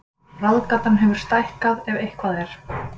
Ráðgátan hefur stækkað ef eitthvað er